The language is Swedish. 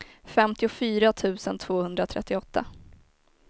femtiofyra tusen tvåhundratrettioåtta